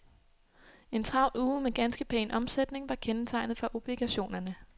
En travl uge med ganske pæn omsætning var kendetegnet for obligationerne.